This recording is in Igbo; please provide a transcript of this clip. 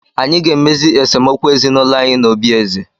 Anyị ga-emezi esemokwu ezinụlọ anyị n'obi eze.